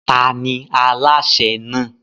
Ta ni alásè náà?